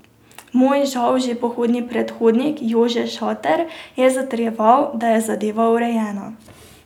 Moj žal že pokojni predhodnik Jože Šater je zatrjeval, da je zadeva urejena.